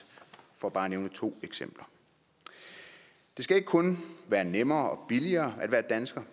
for bare at nævne to eksempler det skal ikke kun være nemmere og billigere at være dansker